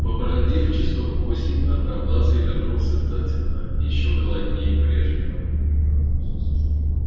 побродив часов восемь одноглазый вернулся затемно ещё голоднее прежнего